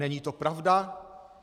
Není to pravda.